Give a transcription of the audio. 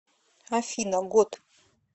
афина год